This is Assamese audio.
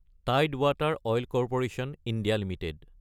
টাইড ৱাটাৰ অইল কো (ই) এলটিডি